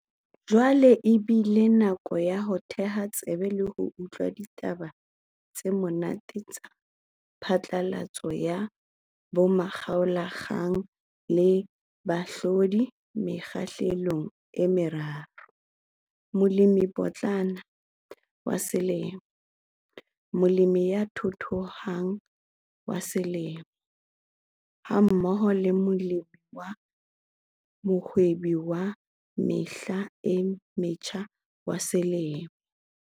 Jwale e bile nako ya ho theha tsebe le ho utlwa ditaba tse monate tsa phatlalatso ya bomakgaolakgang le bahlodi mekgahlelong e meraro- Molemipotlana wa Selemo, Molemi ya Thuthuhang wa Selemo hammoho le Molemi wa Mohwebi wa Mehla e Metjha wa Selemo.